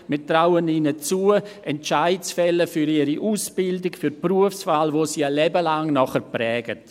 wir trauen ihnen zu, Entscheide für ihre Ausbildung, für die Berufswahl zu treffen, die sie ein Leben lang prägen werden.